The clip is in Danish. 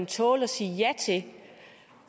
tåle at sige ja til